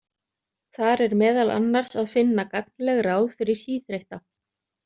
Þar er meðal annars að finna gagnleg ráð fyrir síþreytta.